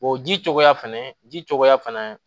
O ji cogoya fɛnɛ ji cogoya fɛnɛ